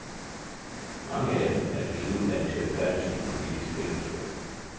Mange af dem er desuden vant til at færdes i et politisk spændingsfelt.